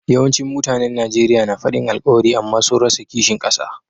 Yawancin mutanen Nijeriya na fadin alkawari amma sun rasa kishin kasa.